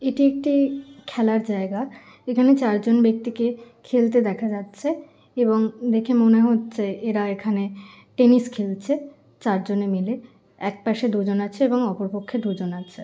এটি একটি খেলার জায়গা। এখানে চারজন ব্যক্তিকে খেলতে দেখা যাচ্ছে এবং দেখে মনে হচ্ছে এরা এখানে টেনিস খেলছে চারজনে মিলে। একপাশে দুজন আছে এবং অপর পক্ষে দুজন আছে।